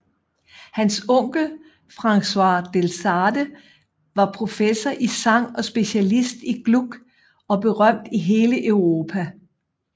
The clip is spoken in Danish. Hans onkel Francois Delsarte var professor i sang og specialist i Gluck og berømt i hele Europa